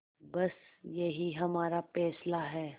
बस यही हमारा फैसला है